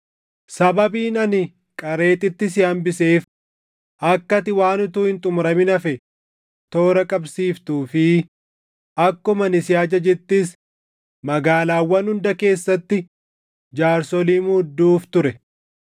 Sababiin ani Qareexitti si hambiseef akka ati waan utuu hin xumuramin hafe toora qabsiiftuu fi akkuma ani si ajajettis magaalaawwan hunda keessatti jaarsolii muudduuf ture.